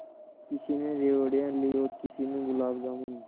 किसी ने रेवड़ियाँ ली हैं किसी ने गुलाब जामुन